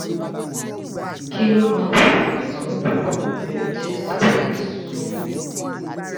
kí ló máa ń fa itó pupọ̀ pelu taste buds tó wu?